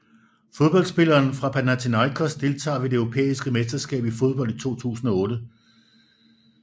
Fodboldspillere fra Panathinaikos Deltagere ved det europæiske mesterskab i fodbold 2008